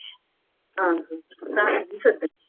ਆਹੋ ਤਾਂ ਹੀ